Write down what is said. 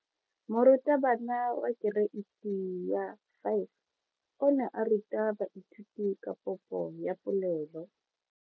Moratabana wa kereiti ya 5 o ne a ruta baithuti ka popo ya polelo.